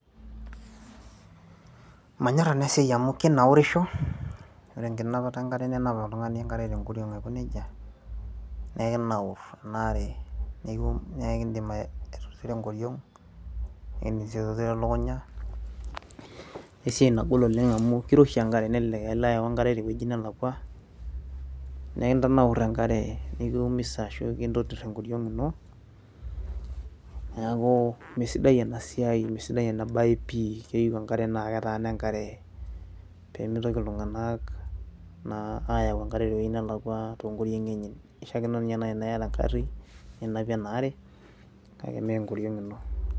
manyorr ena siai amu kinaurisho ore enkinapata enkare ninap oltung'ani enkare tenkoriong aiko nejia nee ekinaurr ena are nekindim aitotiro enkoriong ekindim sii aitotiro elukunya esiai nagol oleng amu kiroshi enkare nelelek ailo ayau enkare tewueji nelakua neekintanaurr enkare nikiumisa ashu kintotirr enkoriong ino niaku mesidai ena siai misidai ena baye pii keyieu enkare naa ketaana enkare pemitoki iltung'anak naa ayau enkare tewueji nelakua tonkoriong'i enye kishiakino ninye naaji tenaa iyata engarri ninapie ena are kake mee enkoriong ino.